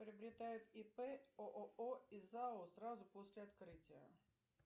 приобретают ип ооо и зао сразу после открытия